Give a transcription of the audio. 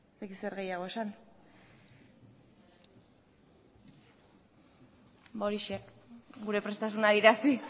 ez dakit zer gehiago esan ba horixe gure prestasuna adierazi